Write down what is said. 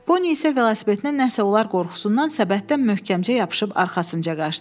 Poni isə velosipedinə nəsə olar qorxusundan səbətdən möhkəmcə yapışıb arxasınca qaçdı.